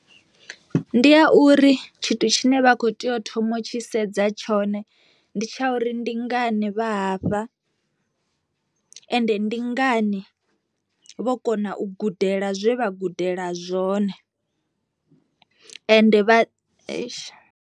Ndi a uri tshithu tshine vha kho tea u thoma u tshi sedza tshone ndi tsha uri ndi ngani vha hafha, ende ndi ngani vho kona u gudela zwe vha gudela zwone ende vha .